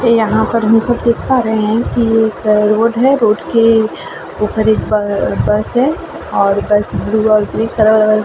ते यहाँ पर हम सब देख पा रहे है की एक अ रोड है। रोड के ऊपर एक ब बस है और बस ब्लू और ग्रे कलर --